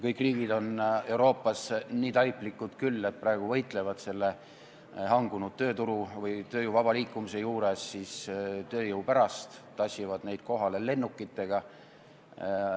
Kõik riigid Euroopas on nii taiplikud küll, et võitlevad praegu selle hangunud tööturu või tööjõu vaba liikumise juures töötajate pärast, tassivad neid kohale kas või lennukitega.